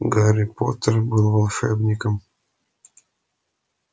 гарри поттер был волшебником